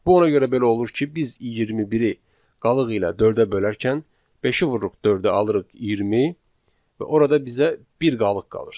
Bu ona görə belə olur ki, biz 21-i qalıq ilə 4-ə bölərkən beşi vururuq dördə, alırıq 20 və orada bizə bir qalıq qalır.